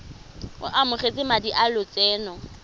o amogetse madi a lotseno